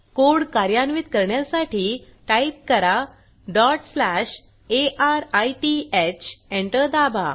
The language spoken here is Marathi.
कोड कार्यान्वित करण्यासाठी टाईप करा arith एंटर दाबा